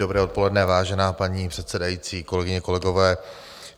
Dobré odpoledne, vážená paní předsedající, kolegyně, kolegové.